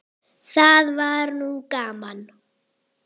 Það var nú gaman.